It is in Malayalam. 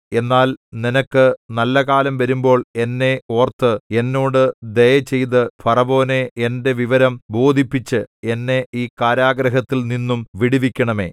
എന്നാൽ നിനക്ക് നല്ലകാലം വരുമ്പോൾ എന്നെ ഓർത്ത് എന്നോട് ദയചെയ്ത് ഫറവോനെ എന്റെ വിവരം ബോധിപ്പിച്ച് എന്നെ ഈ കാരാഗൃഹത്തിൽനിന്നും വിടുവിക്കണമേ